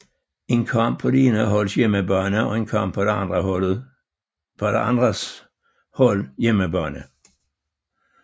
En kamp på det ene holds hjemmebane og en kamp på det andets hold hjemmebane